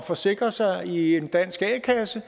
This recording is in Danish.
forsikre sig i en dansk a kasse